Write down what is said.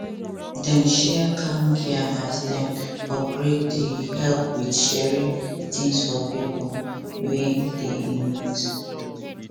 dem share camp gear as dem upgrade dey help with sharing things for pipo wey dey in need